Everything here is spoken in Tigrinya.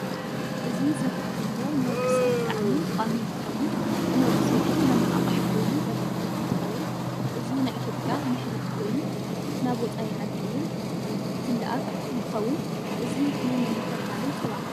እዚ ዝርአ ዘሎ ንወድሰብ ብጣዓሚ ጠቃሚ እንትከውን ንወድሰብ እውን መናቃቅሕ ኮይኑ ዝግልግል እንትከውን እዚ ናይ ኢትዮጵያ ምሕሪት ከይኑ ናብ ወፃኢ ዓዲ እውን ዝላኣክ እንትከውን እዚ ምን እዳተበሃለ ይፅዋዕ?